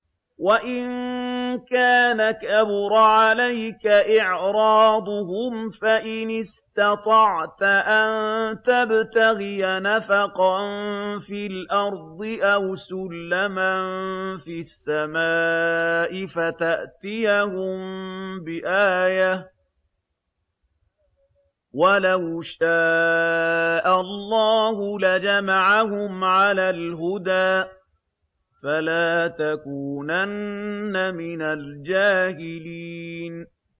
وَإِن كَانَ كَبُرَ عَلَيْكَ إِعْرَاضُهُمْ فَإِنِ اسْتَطَعْتَ أَن تَبْتَغِيَ نَفَقًا فِي الْأَرْضِ أَوْ سُلَّمًا فِي السَّمَاءِ فَتَأْتِيَهُم بِآيَةٍ ۚ وَلَوْ شَاءَ اللَّهُ لَجَمَعَهُمْ عَلَى الْهُدَىٰ ۚ فَلَا تَكُونَنَّ مِنَ الْجَاهِلِينَ